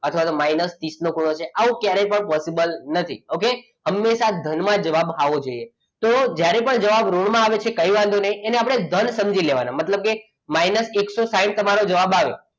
અથવા તો minus ત્રીસ નો ખૂણો છે આવું ક્યારે પણ possible નથી okay હમેશા ધનમાં જ જવાબ આવવો જોઈએ તો જ્યારે પણ જવાબ ઋણમાં આવે છે તો કંઈ વાંધો નહીં એને આપણે ધન સમજી લેવાનું મતલબ કે minus એકસો સાઈઠ તમારો જવાબ આવ્યો,